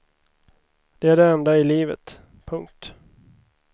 Det är det enda i livet. punkt